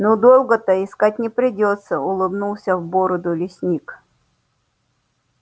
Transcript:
ну долго-то искать не придётся улыбнулся в бороду лесник